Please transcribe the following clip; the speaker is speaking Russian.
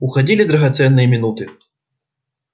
уходили драгоценные минуты